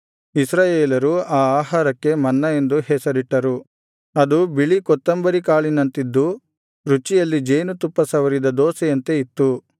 ಇಸ್ರಾಯೇಲರು ಆ ಆಹಾರಕ್ಕೆ ಮನ್ನ ಎಂದು ಹೆಸರಿಟ್ಟರು ಅದು ಬಿಳಿ ಕೊತ್ತುಂಬರಿ ಕಾಳಿನಂತಿದ್ದು ರುಚಿಯಲ್ಲಿ ಜೇನುತುಪ್ಪ ಸವರಿದ ದೋಸೆಯಂತೆ ಇತ್ತು